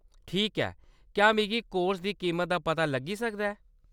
ठीक ऐ ! क्या मिगी कोर्स दी कीमत दा पता लग्गी सकदा ऐ ?